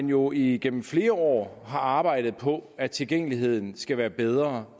jo igennem flere år arbejdet på at tilgængeligheden skal være bedre